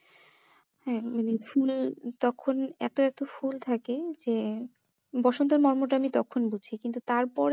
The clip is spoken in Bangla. হ্যাঁ ওই যে ফুল তখন এত এত ফুল থাকে যে বসন্তর মর্মটা আমি তখন বুঝি কিন্তু তারপরে